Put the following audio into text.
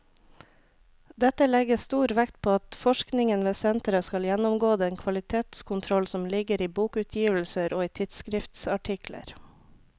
Dette legges stor vekt på at forskningen ved senteret skal gjennomgå den kvalitetskontroll som ligger i bokutgivelser og i tidsskriftsartikler.